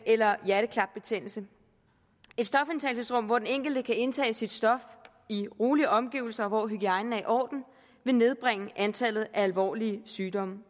eller hjerteklapbetændelse et stofindtagelsesrum hvor den enkelte kan indtage sit stof i rolige omgivelser og hvor hygiejnen er i orden vil nedbringe antallet af alvorlige sygdomme